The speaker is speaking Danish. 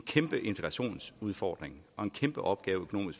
kæmpe integrationsudfordring og økonomisk en kæmpeopgave